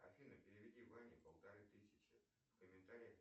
афина переведи ване полторы тысячи в комментариях